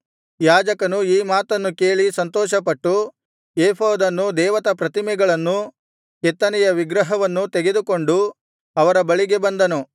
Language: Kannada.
ಯಾಜಕನು ಈ ಮಾತನ್ನು ಕೇಳಿ ಸಂತೋಷಪಟ್ಟು ಏಫೋದನ್ನೂ ದೇವತಾಪ್ರತಿಮೆಗಳನ್ನೂ ಕೆತ್ತನೆಯ ವಿಗ್ರಹವನ್ನೂ ತೆಗೆದುಕೊಂಡು ಅವರ ಬಳಿಗೆ ಬಂದನು